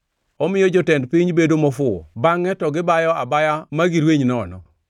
Omiyo jotend piny bedo mofuwo; bangʼe to gibayo abaya ma girweny nono.